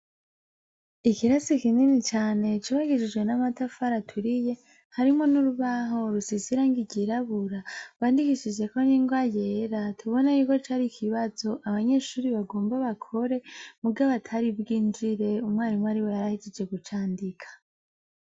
Ilirasi kinini cane cubakishijwe n'amatafari aturiye, harimwo n'urubaho rusize irangi ryirabura, bandikishijeko n'ingwa yera, tubona yuko cari ikibazo abanyeshure bagomba bakore muga batari bwinjire, umwarimu ariwe yari ahejeje kucandika.